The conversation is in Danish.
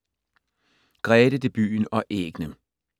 Grete, debuten og æggene